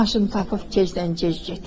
Maşını tapıb gecdən gec getdi.